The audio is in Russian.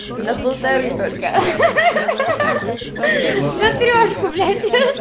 на полторы только на трёшку